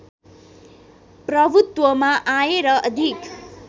प्रभुत्वमा आए र अधिक